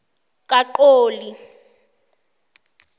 kaqoli